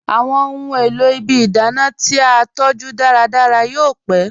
Awọn ọ̀hun èlò ìbí ìdánà ti a tọju dàràdàrà yóò pẹ̀.